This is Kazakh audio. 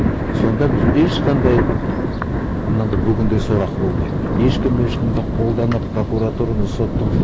сонда біз ешқандай мынандай бүгіндей сорақы болмайды ешкім ешкімді қолданып прокуратураны сотты